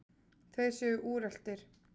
Þeir séu úreltir.